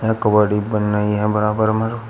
बन रही है बराबर में।